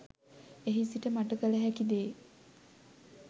එහි සිට මට කළ හැකි දේ